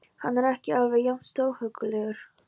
Er hann ekki alveg jafn stórhuggulegur?